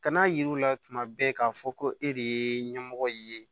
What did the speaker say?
Kana yirila tuma bɛɛ k'a fɔ ko e de ye ɲɛmɔgɔ ye